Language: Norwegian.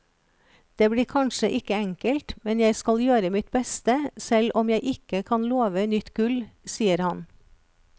Det blir kanskje ikke enkelt, men jeg skal gjøre mitt beste selv om jeg ikke kan love nytt gull, sier han.